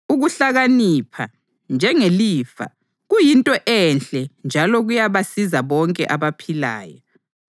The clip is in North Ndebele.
Ukuhlakanipha, njengelifa, kuyinto enhle njalo kuyabasiza bonke abaphilayo.